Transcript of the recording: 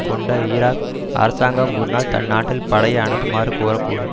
கொண்ட ஈராக் அரசாங்கம் ஒருநாள் தன்நாட்டில் படையை அனுப்புமாறு கோரக்கூடும்